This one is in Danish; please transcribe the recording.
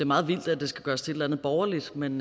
meget vildt at det skal gøres til et eller andet borgerligt men